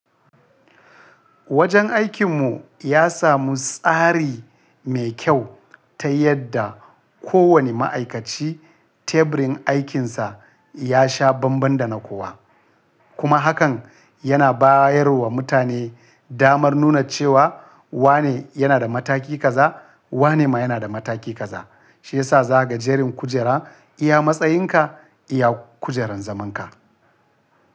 Wajen aikin mu ya samu tsari mai kyau ta yadda kowane ma'aikaci teburin aikinsa ya sha banban da na kowa. Kuma hakan yana bayarwa mutane damar nuna cewa wane yana da mataki kaza, wane ma yana da mataki kaza. Shi yasa za ka ga jerin kujera iya matsayinka, iya kujerar zaman ka.